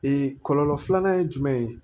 kɔlɔlɔ filanan ye jumɛn ye